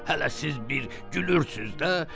Hələ siz bir gülürsüz də.